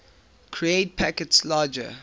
create packets larger